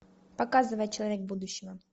показывай человек будущего